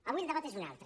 avui el debat és un altre